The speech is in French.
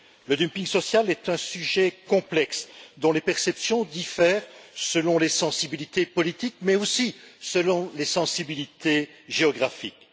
Le dumping social est un sujet complexe, dont les perceptions diffèrent selon les sensibilités politiques, mais aussi selon les sensibilités géographiques.